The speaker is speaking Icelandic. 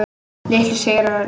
Litlu sigrarnir.